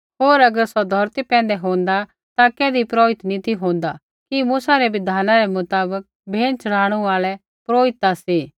होर अगर सौ धौरती पैंधै होंदा ता कैधी पुरोहित नी ती होंदा कि मूसा रै बिधानै रै मुताबक भेंट च़ढ़ाणू आल़ै पुरोहित ता सी